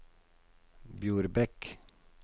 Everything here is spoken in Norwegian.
Bjorbekk